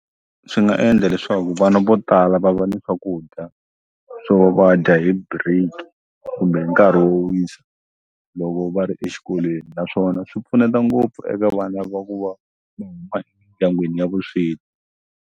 Swi nga endla leswaku vana vo tala va va ni swakudya swo va dya hi break kumbe nkarhi wo wisa loko va ri exikolweni naswona swi pfuneta ngopfu eka vana va ku va ndyangwini ya vusweti.